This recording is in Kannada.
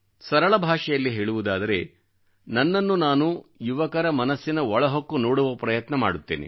ಸರಳ ಭಾಷೆಯಲ್ಲಿ ಹೇಳುವುದಾದರೆ ನನ್ನನ್ನು ನಾನು ಯುವಕರ ಮನಸ್ಸಿನ ಒಳಹೊಕ್ಕು ನೋಡುವ ಪ್ರಯತ್ನ ಮಾಡುತ್ತೇನೆ